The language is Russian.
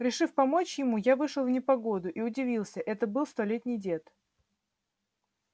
решив помочь ему я вышел в непогоду и удивился это был столетний дед